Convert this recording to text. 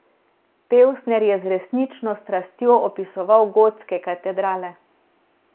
Pevsner je z resnično strastjo opisoval gotske katedrale.